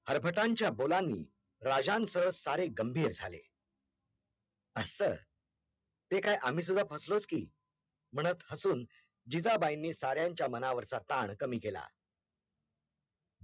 ते काय आम्ही सुद्धा फसलोच की म्हणत हसून जिजाबाईंनी साऱ्यांच्या मनावरचा तान कमी केला